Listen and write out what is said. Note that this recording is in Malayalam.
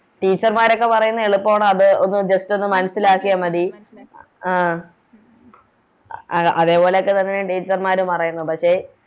Teacher മാരൊക്കെ പറയുന്നത് എളുപ്പാണ് അത് Just ഒന്ന് മനസ്സിലാക്കിയാൽ മതി അഹ് അതേപോലൊക്കെ തന്നെയാണ് Teacher മാരും പറയണത് പക്ഷെ